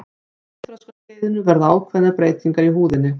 á kynþroskaskeiðinu verða ákveðnar breytingar í húðinni